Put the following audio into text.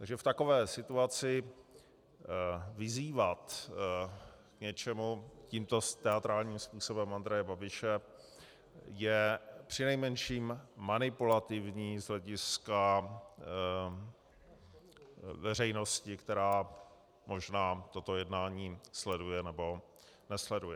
Takže v takové situaci vyzývat k něčemu tímto teatrálním způsobem Andreje Babiše je přinejmenším manipulativní z hlediska veřejnosti, která možná toto jednání sleduje, nebo nesleduje.